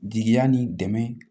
Jigiya ni dɛmɛ